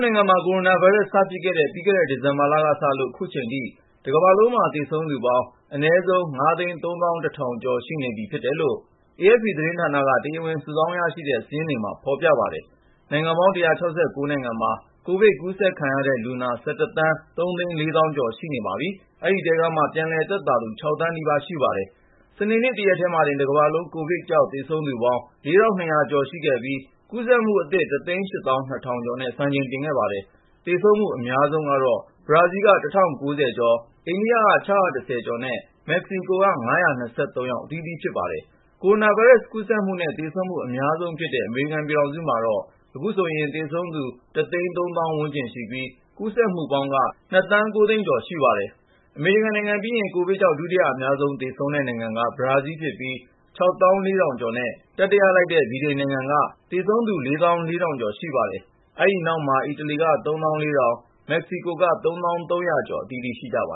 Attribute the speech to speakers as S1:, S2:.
S1: နိုင်ငံမှာ ကိုရိုနာဗိုင်းရပ်စ် စဖြစ်ခဲ့တဲ့ ပြီးခဲ့တဲ့ ဒီဇင်ဘာလကစလို့ ခုချိန်ထိ တကမ္ဘာလုံးမှာ သေဆုံးသူပေါင်း အနည်းဆုံး ၅၃၁,၀၀၀ ကျော် ရှိနေပြီဖြစ်တယ်လို့ AFP သတင်းဌာနက တရားဝင် စုဆောင်းရရှိတဲ့ စာရင်းမှာ ဖော်ပြပါတယ်။ နိုင်ငံပေါင်း ၁၉၆ နိုင်ငံမှာ ကိုဗစ်ကူးစက်ခံရတဲ့လူနာ ၁၁ သန်း ၃ သိန်း ၄ သောင်းကျော် ရှိနေပါပြီ။ အဲဒီထဲကမှ ပြန်လည်သက်သာလာသူ ၆ သန်းနီးပါး ရှိပါတယ်။ စနေနေ့ တရက်တည်းမှာတင် တကမ္ဘာလုံး ကိုဗစ်ကြောင့် သေဆုံးသူပေါင်း ၄,၂၀၀ ကျော်ရှိခဲ့ပြီး ကူးစက်မှုအသစ် ၁၈၂,၀၀၀ ကျော်နဲ့ စံချိန်တင်ခဲ့ပါတယ်။ သေဆုံးမှု အများဆုံးကတော့ ဘရာဇီးက ၁,၀၉၁ ယောက်၊ အိန္ဒိယက ၆၁၃ ယောက်နဲ့ မက္ကဆီကိုက ၅၂၃ ယောက် အသီးသီးဖြစ်ပါတယ်။ ကူးစက်မှုနဲ့ သေဆုံးမှု အများဆုံးဖြစ်တဲ့ အမေရိကန်ပြည်ထောင်စုမှာတော့ ခုဆိုရင် သေဆုံးသူ ၁၃၀,၀၀၀ ဝန်းကျင်ရှိပြီး ကူးစက်မှုက ၂,၉၀၀,၀၀၀ ဝန်းကျင် ရှိပါတယ်။ အမေရိကန်နိုင်ငံပြီးရင် ကိုဗစ်ကြောင့် ဒုတိယအများဆုံး သေဆုံးတဲ့နိုင်ငံက ဘရာဇီးဖြစ်ပြီး ၆၄,၀၀၀ ကျော်နဲ့ တတိယက ဗြိတိန်နိုင်ငံဖြစ်ကာ သေဆုံးသူ ၄၄,၀၀၀ ကျော်ရှိပါတယ်။ အဲဒီနောက်မှာ အီတလီက ၃၄,၀၀၀ ကျော်၊ မက္ကဆီကိုက ၃၀,၃၀၀ ကျော် အသီးသီးရှိကြပ